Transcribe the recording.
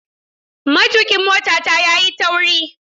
Matukin motata yayi tauri.